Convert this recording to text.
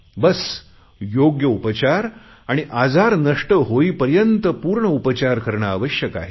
बस योग्य उपचार आणि आजार नष्ट होईपर्यंत पूर्ण उपचार करणे आवश्यक आहे